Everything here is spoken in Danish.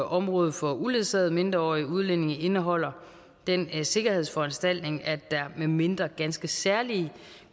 området for uledsagede mindreårige udlændinge indeholder den sikkerhedsforanstaltning at der medmindre ganske særlige